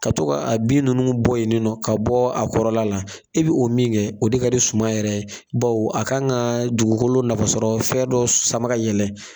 Ka to ka a bin ninnu bɔ yen nɔ, ka bɔ a kɔrɔla la, e bi o min kɛ, o de ka di suma yɛrɛ ye bawo a ka kan ka dugukolo nafasɔrɔ fɛn dɔ sama ka yɛlɛn